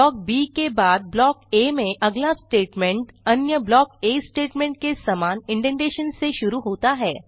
block B के बाद block A में अगला स्टेटमेंट अन्य ब्लॉक आ स्टेटमेंट के सामान इंडेंटेशन से शुरू होता है